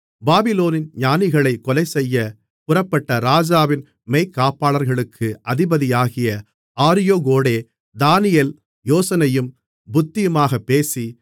பாபிலோனின் ஞானிகளைக் கொலைசெய்யப் புறப்பட்ட ராஜாவின் மெய்க்காப்பாளர்களுக்கு அதிபதியாகிய ஆரியோகோடே தானியேல் யோசனையும் புத்தியுமாகப் பேசி